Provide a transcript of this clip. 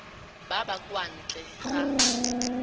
ba ba kwa ntle ga